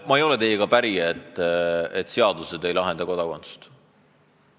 Ma ei ole teiega päri, et seaduse alusel ei määratleta kodakondsust.